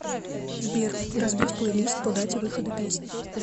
сбер разбить плейлист по дате выхода песни